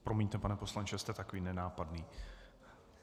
Promiňte, pane poslanče, jste takový nenápadný.